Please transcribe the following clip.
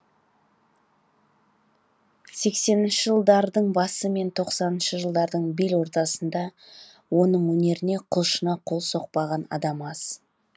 сексенінші жылдардың басы мен тоқсаныншы жылдардың бел ортасында оның өнеріне құлшына қол соқпаған адам аз